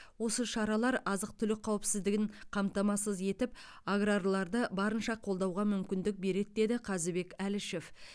осы шаралар азық түлік қауіпсіздігін қамтамасыз етіп аграрларды барынша қолдауға мүмкіндік береді деді қазыбек әлішев